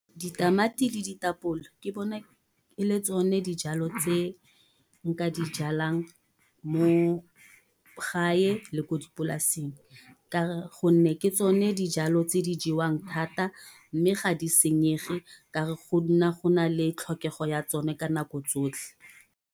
Ditamati le ditapole ke bona e le tsone dijalo tse nka di jalang mo gae le ko dipolaseng. Ka gonne ke tsone dijalo tse di jewang thata. Mme ga di senyege, ka re go nna go nale tlhokego ya tsone ka nako tsotlhe.